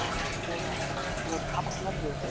Boranir voru hafnar við